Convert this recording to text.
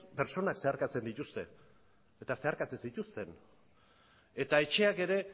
pertsonek zeharkatzen dituzte eta zeharkatzen zituzten eta etxeak ere